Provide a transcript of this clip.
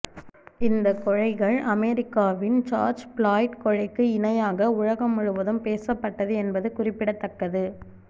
இந்த கொலைகள் அமெரிக்காவின் ஜார்ஜ் பிளாய்ட் கொலைக்கு இணையாக உலகம் முழுவதும் பேசப்பட்டது என்பது குறிப்பிடத்தக்கது